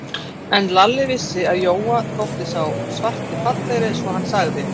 En Lalli vissi, að Jóa þótti sá svarti fallegri, svo hann sagði